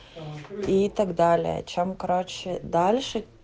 и так далее чем короче дальше